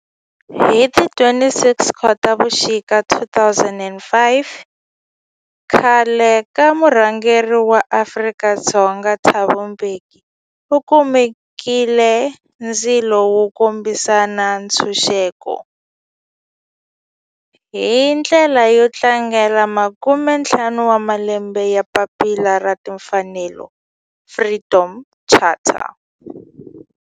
Hi ti 26 Khotavuxika 2005 khale ka murhangeri wa Afrika-Dzonga Thabo Mbeki u lumekile ndzilo wo kombisa ntshuxeko, hi ndlela yo tlangela makumentlhanu wa malembe ya papila ra timfanelo, Freedom Charter.